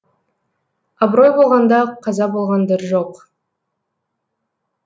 абырой болғанда қаза болғандар жоқ